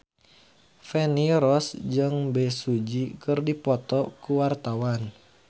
Feni Rose jeung Bae Su Ji keur dipoto ku wartawan